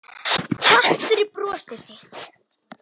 Takk fyrir brosið þitt.